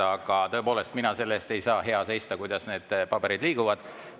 Aga tõepoolest, mina selle eest ei saa hea seista, kuidas need paberid liiguvad.